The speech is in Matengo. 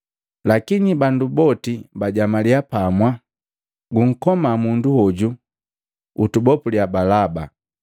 Lakini bandu boti bajamaliya pamwa, “Gunkoma mundu hoju, utubopuliya Balaba!”